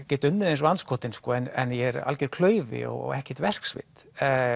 get unnið eins og andskotinn en ég er algjör klaufi og hef ekkert verkvit